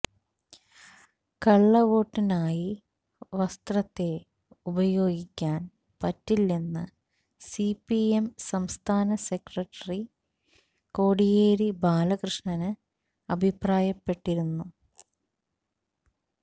കള്ളവോട്ടിനായി വസ്ത്രത്തെ ഉപയോഗിക്കാൻ പറ്റില്ലെന്ന് സിപിഎം സംസ്ഥാന സെക്രട്ടറി കോടിയേരി ബാലകൃഷ്ണന് അഭിപ്രായപ്പെട്ടിരുന്നു